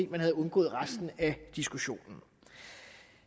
at man havde undgået resten af diskussionen